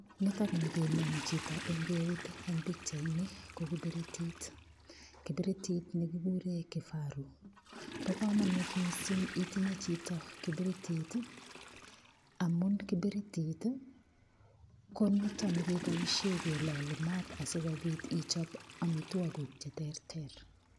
Nitokni kinam chito eng' keut eng' pikchaini ko kipiritit kipiritit nekikure kifaru bo komonut mising' itinye chito kipiritit amun kipiritit ko nito nekeboishe keloli maat asikobit ichop omitwok kuk cheterter